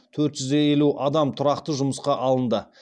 төрт жүз елу адам тұрақты жұмысқа алынды